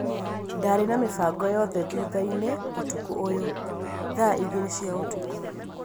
Ndaarĩ na mĩbangoo yothe thutha-inĩ ũtukũ ũyũ, thaa igĩrĩ cia ũtukũ